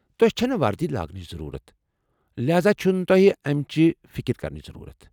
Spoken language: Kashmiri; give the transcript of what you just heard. توِہہِ چھنہٕ وردی لاگنٕچ ضرورت ، لہاذا چُھنہٕ تو٘ہہِ امِچ فِكر كرنٕچ ضرورت ۔